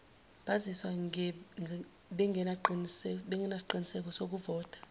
bazizwa bengenasiqiniseko sokuvota